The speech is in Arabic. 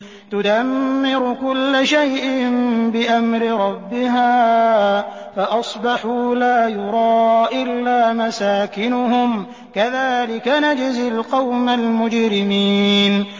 تُدَمِّرُ كُلَّ شَيْءٍ بِأَمْرِ رَبِّهَا فَأَصْبَحُوا لَا يُرَىٰ إِلَّا مَسَاكِنُهُمْ ۚ كَذَٰلِكَ نَجْزِي الْقَوْمَ الْمُجْرِمِينَ